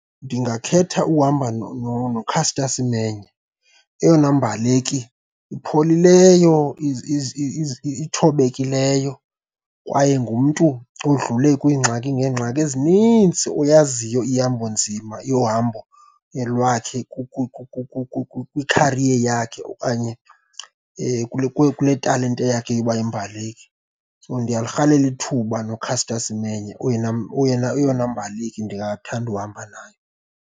Ndingakhetha ukuhamba noCaster Semenya eyona mbaleki ipholileyo, ithobekileyo kwaye ngumntu odlule kwiingxaki ngeengxaki ezininzi oyaziyo ihambo nzima yohambo lwakhe kwikhariye yakhe okanye kule talente yakhe yokuba yimbaleki. So, ndiyalirhalela ithuba noCaster Semenya oyena, oyena eyona mbaleki ndingathanda uhamba nayo.